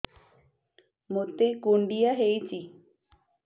ମୋତେ କୁଣ୍ଡିଆ ହେଇଚି